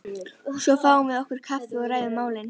Svo fáum við okkur kaffi og ræðum málin.